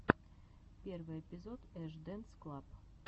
первый эпизод эш дэнс клаб